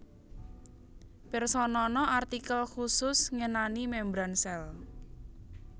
Pirsanana artikel khusus ngenani membran sèl